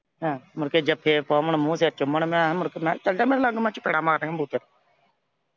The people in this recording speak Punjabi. ਆਹੋ। ਮੁੜ ਕੇ ਜੱਫੇ ਪਾਵਣ ਮੂੰਹ ਜਿਹੇ ਚੁੰਮਣ। ਮੈਂ ਕਿਹਾ ਮੁੜ ਕੇ ਚਲੇ ਜਾ ਮੇਰੇ ਲਾਗੋਂ ਮੈਂ ਚਪੇੜਾਂ ਮਾਰਨੀਆਂ ਈ ਬੂਥੇ ਤੇ।